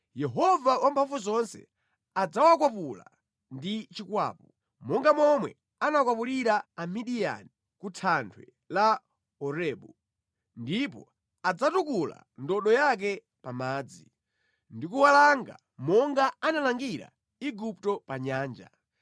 Yehova Wamphamvuzonse adzawakwapula ndi chikwapu, monga momwe anakwapulira Amidiyani ku thanthwe la Orebu; ndipo adzatukula ndodo yake pa madzi ndikuwalanga monga analangira Igupto pa nyanja.